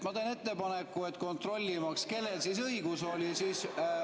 Ma teen ettepaneku, kontrollimaks, kellel õigus oli.